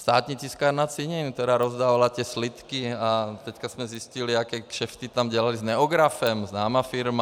Státní tiskárna cenin, která rozdávala ty slitky, a teď jsme zjistili, jaké kšefty tam dělali s Neografem, známá firma.